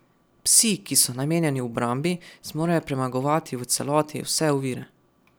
Psi, ki so namenjeni obrambi, zmorejo premagovati v celoti vse ovire.